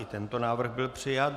I tento návrh byl přijat.